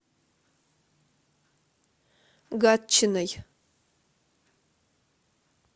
гатчиной